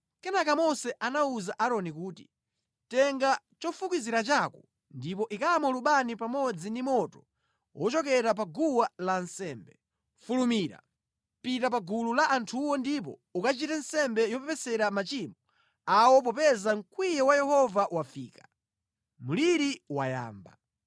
Kenaka Mose anawuza Aaroni kuti, “Tenga chofukizira chako ndipo ikamo lubani pamodzi ndi moto wochokera pa guwa lansembe, fulumira, pita pa gulu la anthuwo ndipo ukachite nsembe yopepesera machimo awo popeza mkwiyo wa Yehova wafika, mliri wayamba.”